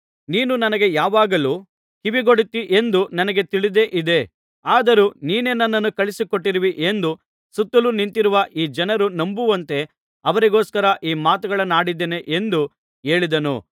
ನೀನು ನನಗೆ ಯಾವಾಗಲೂ ಕಿವಿಗೊಡುತ್ತೀ ಎಂದು ನನಗೆ ತಿಳಿದೇ ಇದೆ ಆದರೂ ನೀನೇ ನನ್ನನ್ನು ಕಳುಹಿಸಿಕೊಟ್ಟಿರುವಿ ಎಂದು ಸುತ್ತಲೂ ನಿಂತಿರುವ ಈ ಜನರು ನಂಬುವಂತೆ ಅವರಿಗೋಸ್ಕರ ಈ ಮಾತುಗಳನ್ನಾಡಿದ್ದೇನೆ ಎಂದು ಹೇಳಿದನು